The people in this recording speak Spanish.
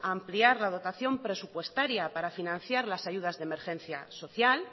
a ampliar la dotación presupuestaria para financiar las ayudas de emergencia social